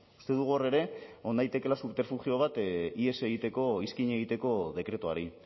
uste dugu hor ere egon daitekeela subterfugio bat ihes egiteko iskin egiteko dekretuari